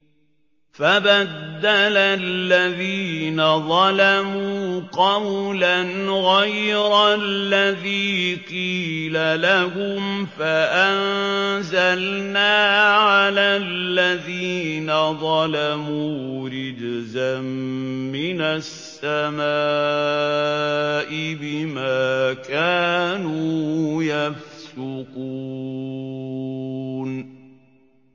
فَبَدَّلَ الَّذِينَ ظَلَمُوا قَوْلًا غَيْرَ الَّذِي قِيلَ لَهُمْ فَأَنزَلْنَا عَلَى الَّذِينَ ظَلَمُوا رِجْزًا مِّنَ السَّمَاءِ بِمَا كَانُوا يَفْسُقُونَ